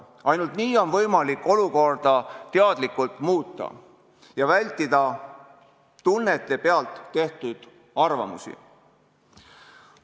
Ainult nii on võimalik olukorda teadlikult muuta ja vältida tunnete pealt tekkinud arvamusi.